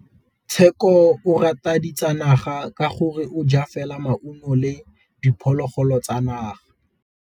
Tshekô o rata ditsanaga ka gore o ja fela maungo le diphologolo tsa naga.